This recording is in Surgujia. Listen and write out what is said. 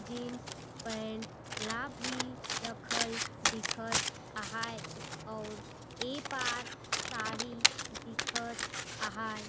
जीन्स पेंट ला भी रखल दिखत आहाये आउर ए पार साड़ी दिखत आहाये।